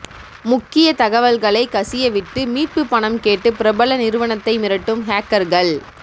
முக்கிய தகவல்களை கசியவிட்டு மீட்புப் பணம் கேட்டு பிரபல நிறுவனத்தை மிரட்டும் ஹேக்கர்கள்